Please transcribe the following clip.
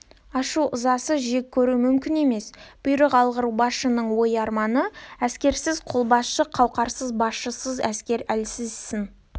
ашу-ызасыз жек көру мүмкін емес бұйрық алғыр басшының ой-арманы әскерсіз қолбасшы қауқарсыз басшысыз әскер әлсіз сын